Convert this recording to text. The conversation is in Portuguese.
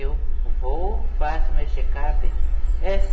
Eu vou, faço meu check-up,